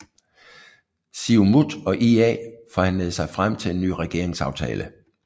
Siumut og IA forhandlede sig frem til en ny regeringsaftale